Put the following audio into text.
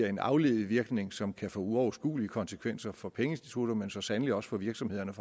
en afledt virkning som kan få uoverskuelige konsekvenser for pengeinstitutter men så sandelig også for virksomhederne